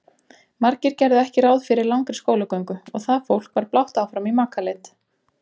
Margir gerðu ekki ráð fyrir langri skólagöngu og það fólk var blátt áfram í makaleit.